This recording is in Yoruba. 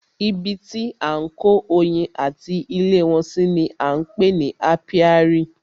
Ibi tí à ń kó oyin ati ilé wọn si ni á ń pè ní ápíárì.